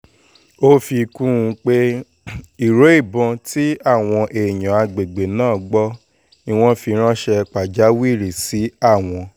ó fi kún un pé ìró ìbọn tí àwọn èèyàn àgbègbè náà gbọ́ ni wọ́n fi ránṣẹ́ pàjáwìrì sí àwọn